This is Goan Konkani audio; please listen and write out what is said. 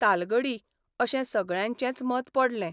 तालगडी अशें सगळ्यांचेंच मत पडलें.